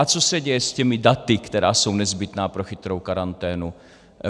A co se děje s těmi daty, která jsou nezbytná pro chytrou karanténu?